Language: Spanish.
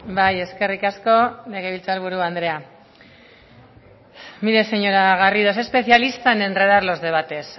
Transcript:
bai eskerrik asko legebiltzar buru andrea mire señora garrido es especialista en enredar los debates